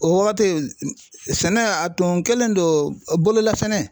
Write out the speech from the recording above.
O wagati sɛnɛ a tun kɛlen do bololasɛnɛ